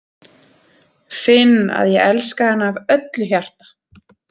Finn að ég elska hana af öllu hjarta.